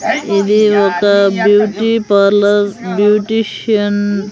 ఇది ఒక beauty parlour beautician --